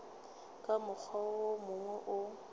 ka mokgwa wo mongwe o